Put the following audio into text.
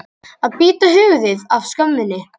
Að bíta höfuðið af skömminni